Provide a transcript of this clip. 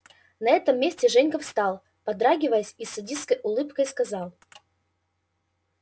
на этом месте женька встал подрагиваясь и с садистской улыбкой сказал